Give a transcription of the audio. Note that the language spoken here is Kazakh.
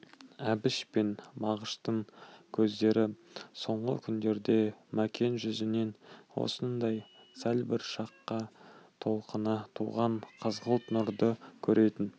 әбіш пен мағыштың көздері соңғы күндерде мәкен жүзінен осындай сәл бір шақта толқына туған қызғылт нұрды көретін